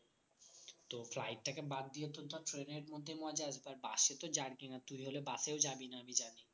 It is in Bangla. তো flight টাকে বাদ দিয়ে তো ধর train এর মধ্যে মজা আসবে আর bus এ তো jerking আর তুই হলে bus এও যাবিনা না আমি জানি